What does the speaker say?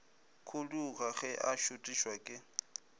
khuduga ge a šuthišwa ke